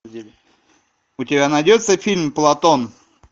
у тебя найдется фильм платон